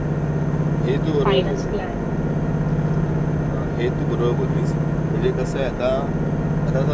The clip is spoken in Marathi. असं झालयं की त्यंनी आता सिबिल असतो ना सिबिल स्कोअर त्याच्याशी आपला रेट ऑफ इन्ट्रेस लिंक केलंय,